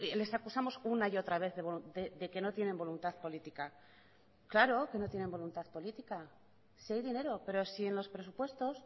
les acusamos una y otra vez de que no tienen voluntad política claro que no tienen voluntad política si hay dinero pero si en los presupuestos